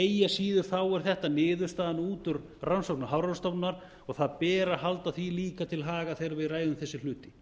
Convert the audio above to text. eigi að siður er þetta niðurstaðan út úr rannsóknum hafrannsóknastofnunar og það ber að halda því líka til haga þegar við ræðum þessa hluti